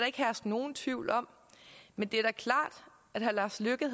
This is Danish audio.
ikke herske nogen tvivl om men det er klart